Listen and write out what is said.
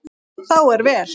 Þá er vel.